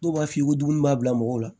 Dɔw b'a f'i ye ko dumuni b'a bila mɔgɔ la